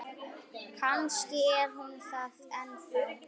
Kannski er hún það ennþá.